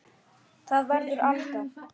Það verður Alda.